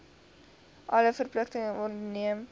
alle verpligtinge onderneem